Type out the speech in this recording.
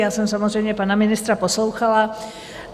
Já jsem samozřejmě pana ministra poslouchala.